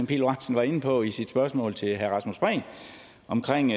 pihl lorentzen var inde på i sit spørgsmål til herre rasmus prehn omkring